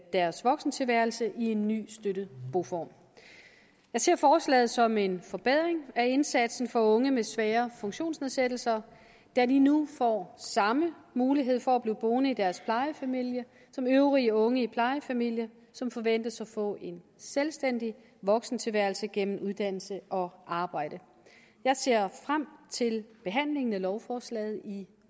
deres voksentilværelse i en ny støttet boform jeg ser forslaget som en forbedring af indsatsen for unge med svære funktionsnedsættelser da de nu får samme mulighed for at blive boende i deres plejefamilie som øvrige unge i plejefamilier som forventes at få en selvstændig voksentilværelse gennem uddannelse og arbejde jeg ser frem til behandlingen af lovforslaget i